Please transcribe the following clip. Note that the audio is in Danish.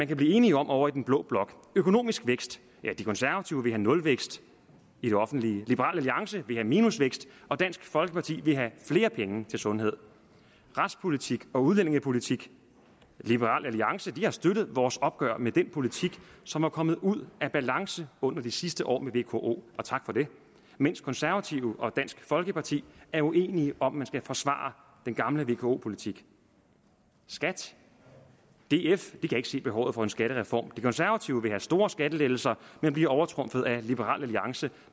kan blive enige om ovre i den blå blok økonomisk vækst de konservative vil have nulvækst i det offentlige liberal alliance vil have minusvækst og dansk folkeparti vil have flere penge til sundhed retspolitik og udlændingepolitik liberal alliance har støttet vores opgør med den politik som var kommet ud af balance under de sidste år med vko og tak for det mens konservative og dansk folkeparti er uenige om man skal forsvare den gamle vko politik skat df kan ikke se behovet for en skattereform de konservative vil have store skattelettelser men bliver overtrumfet af liberal alliance